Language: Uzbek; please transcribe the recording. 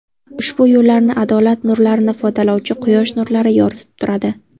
Ushbu yo‘llarni adolat nurlarini ifodalovchi quyosh nurlari yoritib turadi.